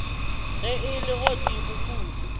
ge e le godimo kudu